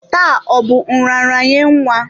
Taa ọ bụ nraranye nwa?